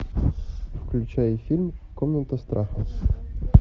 включай фильм комната страха